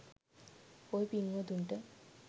ඔය පිංවතුන්ට